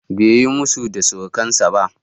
Bai yi musu da surukansa ba.